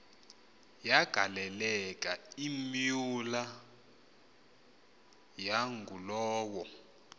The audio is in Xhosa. yagaleleka imyula yangulowo